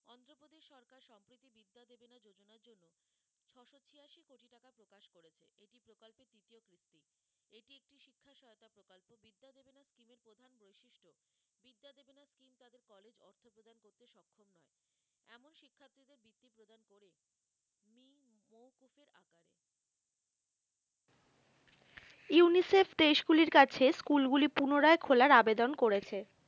UNICEF দেশগুলির কাছে school গুলি পুনরায় খোলার আবেদন করেছে